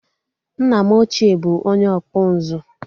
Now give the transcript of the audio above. Nna m ochie bụ onye ọkpụ nzu